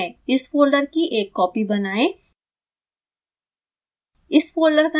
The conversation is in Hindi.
यह यहाँ है इस फोल्डर की एक कॉपी बनाएं